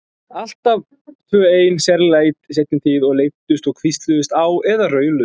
Alltaf tvö ein, sérlega í seinni tíð, og leiddust og hvísluðust á eða rauluðu.